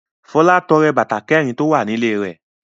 Fọlá tọrẹ bàtà kẹ̀rin tó wà nílé rẹ̀.